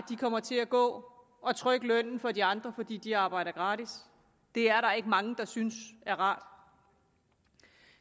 de kommer til at gå og trykke lønnen for de andre fordi de arbejder gratis det er der ikke mange der synes er rart